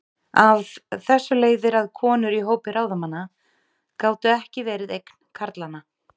Af þessu leiðir að konur í hópi ráðamanna gátu ekki verið eign karlanna.